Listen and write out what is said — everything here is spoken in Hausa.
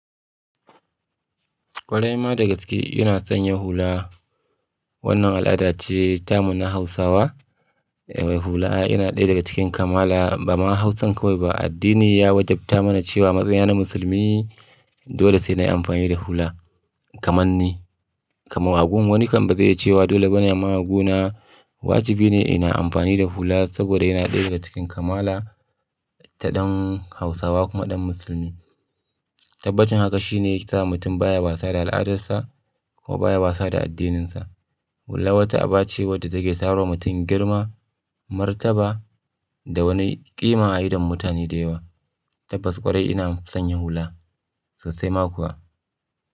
Kwarai ma dagaske yana sanyya hula. Wannan al'ada ce ta mu na Hausawa. Hula ina ɗaya daga cikin kamala ba ma Hausan kawai ba. Addini ya wajabta mana cewa matsayina na musulmi dole sai na yi amfani da hula kamar ni. Kamar agun wani kan ba zai iya cewa dole bane amma aguna. Wajibi ne ina amfani da hula saboda yana ɗaya daga cikin kamala ta ɗan Hausawa kuma ɗan Musulmi. Tabbacin haka shi ne ya sa mutum baya wasa da al'adarsa ko baya wasa da addininsa. Hula wata aba ce wadda take samarwa mutum girma, martaba da wani ƙima a idon mutane da yawa. Tabbas ƙwarai ina son yin hula sosai ma kuwa.